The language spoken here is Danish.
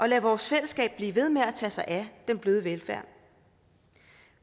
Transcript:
lade vores fællesskab blive ved med at tage sig af den bløde velfærd